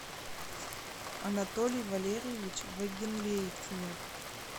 анатолий валерьевич вагенлейтнер